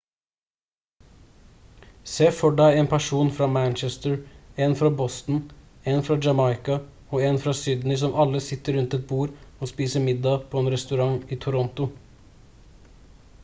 se for deg en person fra manchester en fra boston en fra jamaica og en fra sydney som alle sitter rundt et bord og spiser middag på en restaurant i toronto